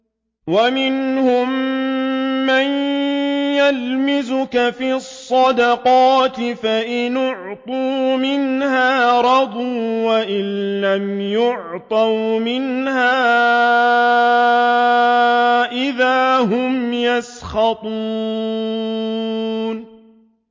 وَمِنْهُم مَّن يَلْمِزُكَ فِي الصَّدَقَاتِ فَإِنْ أُعْطُوا مِنْهَا رَضُوا وَإِن لَّمْ يُعْطَوْا مِنْهَا إِذَا هُمْ يَسْخَطُونَ